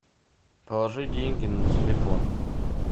положи деньги на телефон